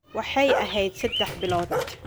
Waxaad ahayd saddex bilood